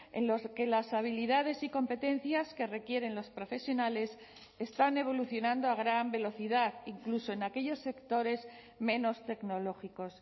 en los que las habilidades y competencias que requieren los profesionales están evolucionando a gran velocidad incluso en aquellos sectores menos tecnológicos